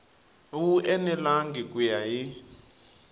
wu enelangi ku ya hi